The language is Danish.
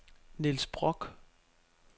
Niels Brock